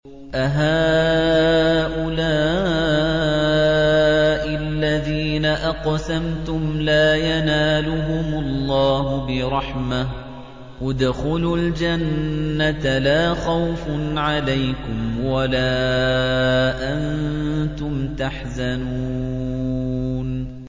أَهَٰؤُلَاءِ الَّذِينَ أَقْسَمْتُمْ لَا يَنَالُهُمُ اللَّهُ بِرَحْمَةٍ ۚ ادْخُلُوا الْجَنَّةَ لَا خَوْفٌ عَلَيْكُمْ وَلَا أَنتُمْ تَحْزَنُونَ